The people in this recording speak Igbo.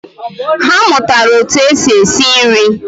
Ha amuatara otu esi esi nri